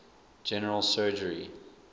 general surgery